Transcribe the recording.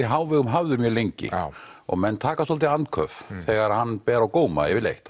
í hávegum hafður mjög lengi og menn taka svolítið andköf þegar hann ber á góma yfirleitt